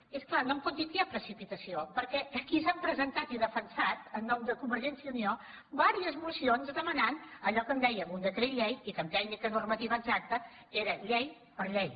i és clar no em pot dir que hi ha precipitació perquè aquí s’han presentat i defensat en nom de convergència i unió diverses mocions que demanaven allò què en dèiem un decret llei i que en tècnica normativa exacta eren llei per llei